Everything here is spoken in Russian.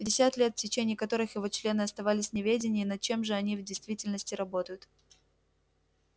пятьдесят лет в течение которых его члены оставались в неведении над чем же они в действительности работают